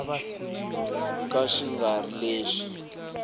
ka xi nga ri lexi